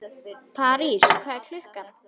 París, hvað er klukkan?